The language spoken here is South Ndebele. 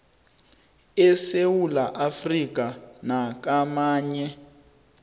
esewula afrika nakamanye